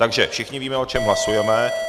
Takže všichni víme, o čem hlasujeme.